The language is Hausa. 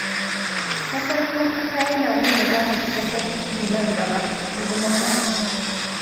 Mafarkin kuka yana nuna za ka shiga farin ciki nan gaba, inji masana